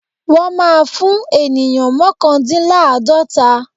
Wọ́n má́a fún ènìyàn mọ́kàndíláàdọ́ta.